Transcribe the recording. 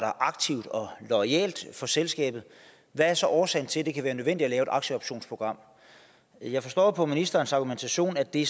aktivt og loyalt for selskabet hvad er så årsagen til at det kan være nødvendigt at lave et aktieoptionsprogram jeg forstår på ministerens argumentation at det